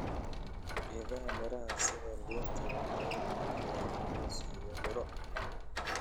Geedaha miraha sida liinta waxay bixiyaan hoos iyo miro.